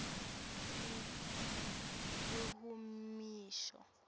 lihumusho